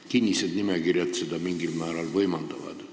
Kinnised nimekirjad seda mingil määral võimaldavad.